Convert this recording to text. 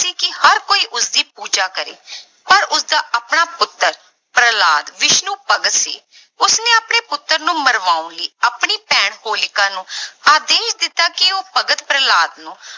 ਸੀ ਕਿ ਹਰ ਕੋਈ ਉਸਦੀ ਪੂਜਾ ਕਰੇ ਪਰ ਉਸਦਾ ਆਪਣਾ ਪੁੱਤਰ ਪ੍ਰਹਿਲਾਦ ਵਿਸ਼ਨੂੰ ਭਗਤ ਸੀ, ਉਸਨੇ ਆਪਣੇ ਪੁੱਤਰ ਨੂੰ ਮਰਵਾਉਣ ਲਈ ਆਪਣੀ ਭੈਣ ਹੋਲਿਕਾ ਨੂੰ ਆਦੇਸ਼ ਦਿੱਤਾ ਕਿ ਉਹ ਭਗਤ ਪ੍ਰਹਿਲਾਦ ਨੂੰ